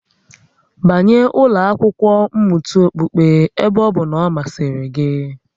Banye ụlọ akwụkwo mmụta okpukpe ebe ọ bụ na ọ masịrị gị